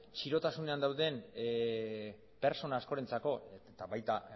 txirotasunean dauden pertsona askorentzako eta baita